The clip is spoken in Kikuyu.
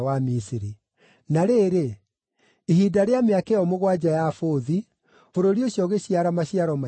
Na rĩrĩ, ihinda rĩa mĩaka ĩyo mũgwanja ya bũthi, bũrũri ũcio ũgĩciara maciaro maingĩ mũno.